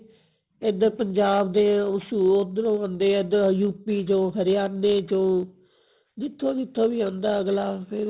ਏਧਰ ਪੰਜਾਬ ਦੇ ਉਧਰੋ ਆਂਦੇ ਐ ਏਧਰ UP ਚੋ ਹਰਿਆਣੇ ਚੋ ਜਿੱਥੋ ਜਿੱਥੋਂ ਵੀ ਆਂਦਾ ਅਗਲਾ ਫੇਰ